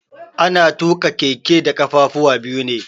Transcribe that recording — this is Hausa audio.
Ana tuƙa keke da kafafuwa biyu ne.